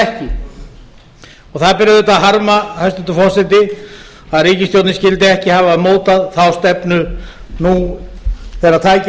er það ekki og það ber auðvitað að harma hæstvirtur forseti að ríkisstjórnin skyldi ekki hafa mótað þá stefnu nú þegar tækifæri